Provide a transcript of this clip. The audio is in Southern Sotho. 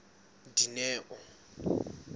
dineo